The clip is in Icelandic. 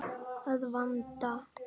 Að vanda.